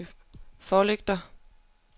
forlygter